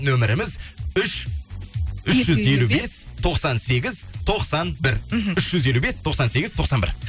нөміріміз үш үш жүз елу бес тоқсан сегіз тоқсан бір мхм үш жүз елу бес тоқсан сегіз тоқсан бір